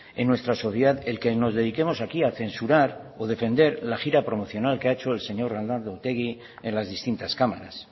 en nuestra sociedad el que nos dediquemos aquí a censurar o defender la gira promocional que ha hecho el señor arnaldo otegi en las distintas cámaras